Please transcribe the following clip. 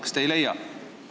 Kas te ei leia?